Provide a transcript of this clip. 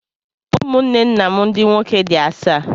Ụmụnne nna m ndị nwoke dị asaa